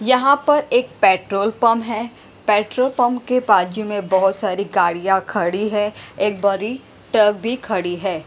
यहाँ पर एक पेट्रोल पंप है पेट्रोल पंप के बाजू में बहुत सारी गाड़ियाँ खड़ी हैं एक बड़ी ट्रक भी खड़ी है।